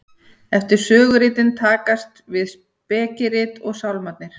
eftir söguritin taka við spekirit og sálmarnir